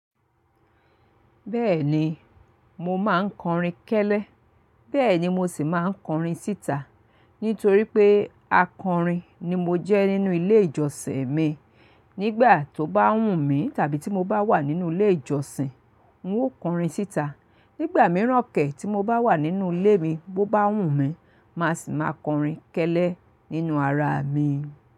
Bẹ́ẹ̀ni, mo máa ń kọrin kẹ́lẹ́, bẹ́ẹ̀ ni mo sì máa ń kọrin síta. Nítorí pé akọrin ni mo jẹ́ nínú ilé ìjọsìn mi. Nígbà tó bá wù mí tàbí tí mo bá wà nínú ilé ìjọsìn, n ó kọrin síta. Nígbà mìíràn kẹ́, tí mo bá wà nínú ilé mi bo bá wù mí, màá sì máa kọrin kẹ́lẹ́ nínú ara mi.